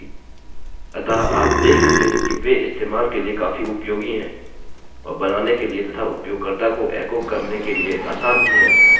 अतः आप देख सकते हैं कि वे इस्तेमाल के लिए काफी उपयोगी हैं और बनाने के लिए तथा उपयोगकर्ता को एको करने के लिए आसान भी हैं